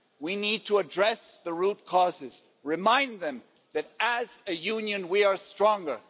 We need to address the root causes, remind them that as a union we are stronger.